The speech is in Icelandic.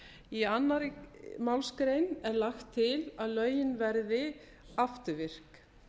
í annarri málsgrein er lagt til að lögin verði afturvirk